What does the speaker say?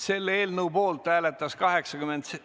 Selle eelnõu poolt hääletas ...